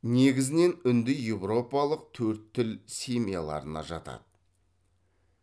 негізінен үндіеуропалық төрт тіл семьяларына жатады